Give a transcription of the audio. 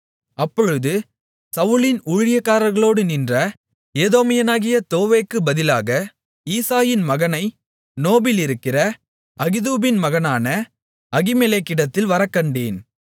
அப்பொழுது சவுலின் ஊழியக்காரர்களோடு நின்ற ஏதோமியனாகிய தோவேக்கு பதிலாக ஈசாயின் மகனை நோபிலிருக்கிற அகிதூபின் மகனான அகிமெலேக்கிடத்தில் வரக்கண்டேன்